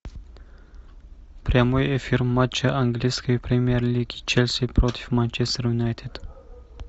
прямой эфир матча английской премьер лиги челси против манчестер юнайтед